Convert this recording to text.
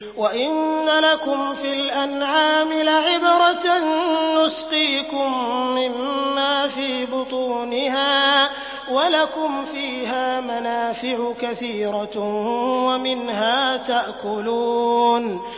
وَإِنَّ لَكُمْ فِي الْأَنْعَامِ لَعِبْرَةً ۖ نُّسْقِيكُم مِّمَّا فِي بُطُونِهَا وَلَكُمْ فِيهَا مَنَافِعُ كَثِيرَةٌ وَمِنْهَا تَأْكُلُونَ